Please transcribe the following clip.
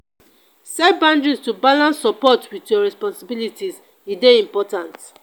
set boundaries to balance support with your responsibilities; e dey important.